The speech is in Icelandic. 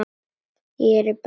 Að gera barninu sínu þetta!